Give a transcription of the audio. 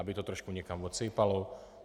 Aby to trošku někam odsejpalo?